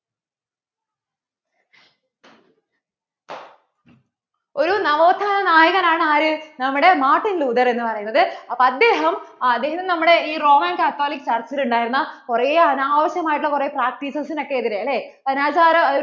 ഒരു നവോഥാന നായകൻ ആണ് ആര് നമ്മടെ Martin Luther എന്ന് പറയുന്നത് അപ്പോൾ അദ്ദേഹം, അദ്ദേഹം നമ്മടെ ഇ Romen catholic church ൽ ഉണ്ടായിരുന്ന കുറേ അനാവശ്യമായിട്ടുള്ള ഉള്ള കുറേ practices ഓക്കേ എതിരെ അല്ലേ